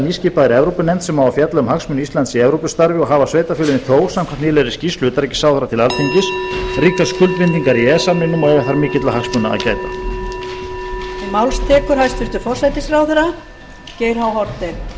nýskipaðri evrópunefnd sem á að fjalla um hagsmuni íslands í evrópustarfi og hafa sveitarfélögin þó samkvæmt nýlegri skýrslu utanríkisráðherra til alþingis ríkar skuldbindingar í e e s samningnum og eiga þar mikilla hagsmuna að gæta